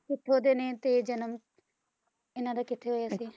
ਕਿੱਥੋਂ ਦੇ ਨੇ ਤੇ ਜਨਮ ਇਹਨਾਂ ਦਾ ਕਿੱਥੇ ਹੋਇਆ ਸੀ?